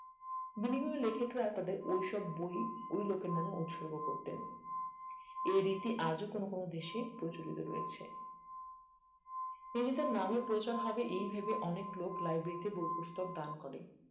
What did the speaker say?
বিভিন্ন লেখকরা তাদের ওই সব বই ওই লোকের নামে অনুসর্গ করতেন এ রীতি আজও কোনো কোনো দেশে প্রচলিত রয়েছে তিনি তার নামের প্রচার হবে এই ভেবে অনেক লোক library বই পুস্তক দান করে